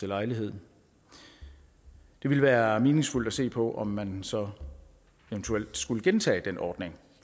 lejlighed det ville være meningsfuldt at se på om man så eventuelt skulle gentage den ordning